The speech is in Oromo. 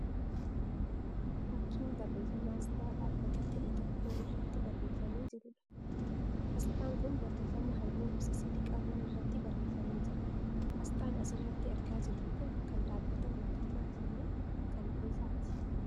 Fakkiin barreeffama asxaa dhaabbata ta'e tokko irratti barreeffamee jiruudha. Asxaan kun barreeffama halluu gosa sadii qabuun irratti barreeffamee jira. Asxaan as irratti argaa jirruu kun kan dhaabbata mootummaati moo kan dhuunfaati?